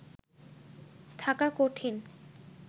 থাকা কঠিন